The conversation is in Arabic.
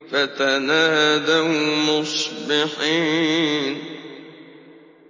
فَتَنَادَوْا مُصْبِحِينَ